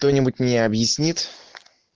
кто-нибудь мне объяснит